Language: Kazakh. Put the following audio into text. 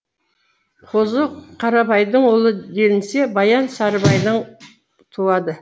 қозы қарабайдың ұлы делінсе баян сарыбайдан туады